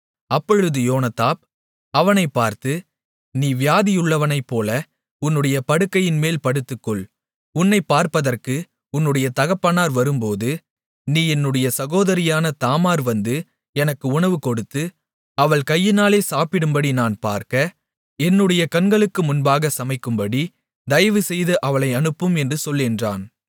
அப்பொழுது யோனதாப் அவனைப் பார்த்து நீ வியாதியுள்ளனைப்போல உன்னுடைய படுக்கையின்மேல் படுத்துக்கொள் உன்னைப் பார்ப்பதற்கு உன்னுடைய தகப்பனார் வரும்போது நீ என்னுடைய சகோதரியான தாமார் வந்து எனக்கு உணவு கொடுத்து அவள் கையினாலே சாப்பிடும்படி நான் பார்க்க என்னுடைய கண்களுக்கு முன்பாக சமைக்கும்படி தயவுசெய்து அவளை அனுப்பும் என்று சொல் என்றான்